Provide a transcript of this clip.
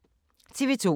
TV 2